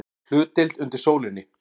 HLUTDEILD UNDIR SÓLINNI